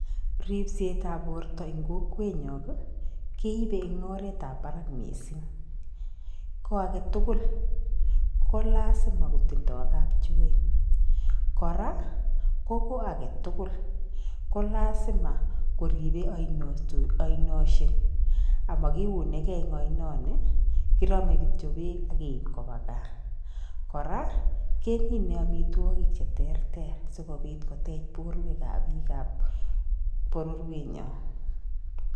Ripset ab borto en kokwenkeibe en oret nemii barak missing ko agetukul ko lasima kotindoo kapchoet koraa ko agetukul kolasima koribe oinoshe amokiune gee en oinoni korome kityok beek ak keib kobwa gaa, koraa kemine omitwokik cheterter sikobit kotech borwek ab biik ab bororienyon.